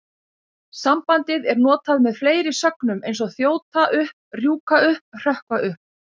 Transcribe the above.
Sambandið er notað með fleiri sögnum eins og þjóta upp, rjúka upp, hrökkva upp.